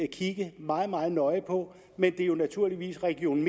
kigge meget meget nøje på men det er jo naturligvis region